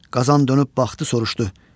Qazan dönüb baxdı, soruşdu.